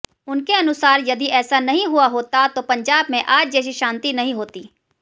उनके अनुसार यदि ऐसा नहीं हुआ होता तो पंजाब में आज जैसी शांति नहीं होती